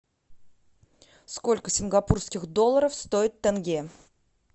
сколько сингапурских долларов стоит тенге